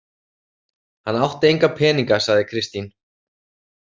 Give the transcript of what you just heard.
Hann átti enga peninga, sagði Kristín.